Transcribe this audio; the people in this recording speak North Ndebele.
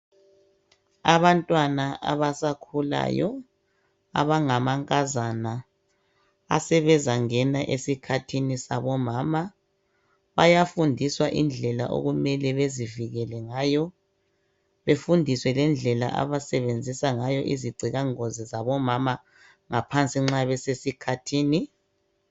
Abantwana abasakhulayo abangamankazana asebezangena esikhathini sabomama bayafundiswa indlela okumele bezivikele ngayo befundiswe lendlela abasebenzisa ngayo izigcilangozi zabomama ngaphansi nxa besesikhathini